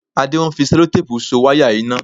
Adé ń fi Sẹlotéèpù So wáyà iná